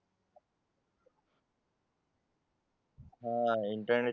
हा इंटरनेट